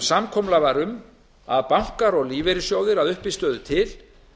samkomulag var um að bankar að lífeyrissjóðir að uppistöðu til